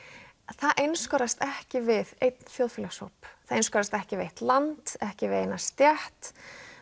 það einskorðast ekki við einn þjóðfélagshóp það einskorðast ekki við eitt land ekki við eina stétt